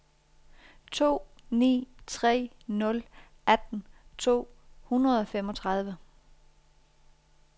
to ni tre nul atten to hundrede og femogtredive